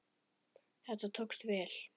Þetta tókst vel.